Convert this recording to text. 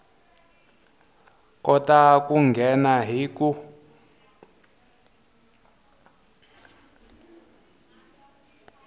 kota ku nghena hi ku